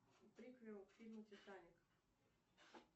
приквел к фильму титаник